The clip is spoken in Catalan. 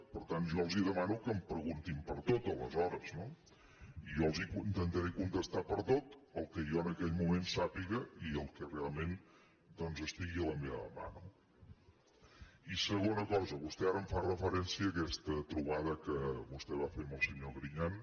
per tant jo els demano que em preguntin per tot aleshores no i jo intentaré contestar·los per a tot el que jo en aquell moment sà·piga i el que realment doncs estigui a la meva mà no i segona cosa vostè ara em fa referència a aquesta tro·bada que vostè va fer amb el senyor griñán